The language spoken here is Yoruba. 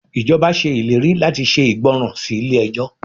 Ìjọba ṣe ìlérí láti ṣe ìgbọràn sí ilé ẹjọ́.